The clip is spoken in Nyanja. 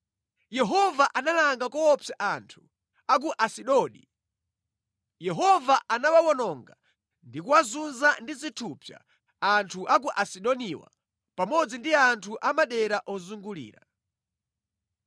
Yehova analanga koopsa anthu a ku Asidodi. Yehova anawawononga ndi kuwazunza ndi zithupsa Asidoniwa pamodzi ndi anthu a madera ozungulira.